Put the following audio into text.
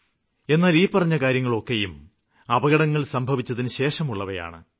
എന്നാല് ഈ പറഞ്ഞ കാര്യങ്ങളൊക്കെയും അപകടങ്ങള് സംഭവിച്ചതിനുശേഷമുള്ളവയാണ്